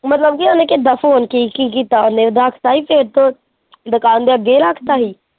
ਮਤਲਬ ਉਹਨੇ ਕਿੱਦਾ ਫੋਨ ਕੀ ਕੀ ਕੀਤਾ ਰੱਖ ਤਾਂ ਜਾਂ ਦੁਕਾਨ ਦੇ ਅੱਗੇ ਹੀ ਰੱਖ ਤਾ ਸੀ।